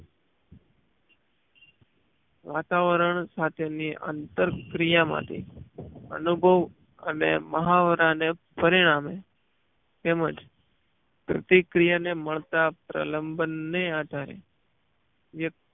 વાતાવરણ સાથે ની અંતર્ક્રીયા માંથી અનુભવ અને મહાવરા ને પરિણામે તેમજ પ્રતિક્રિયા ને મળતા પ્રલાબ્ન્ન ને આધારે વ્યક્તિ